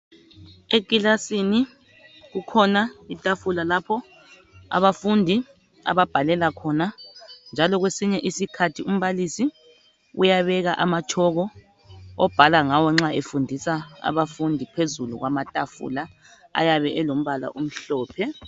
ekilasini kukhona itafula lapho abafundi ababhalela khona njalo kwesinye isikhathi umbalisi uyabeka amatshoko obhala ngawo nxa efundisa abafundi phezulu kwamatafula ayabe elimbala omhlophe